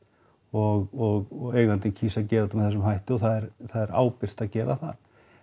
og eigandinn kýs að gera þetta með þessum hætti og það er það er ábyrgt að gera það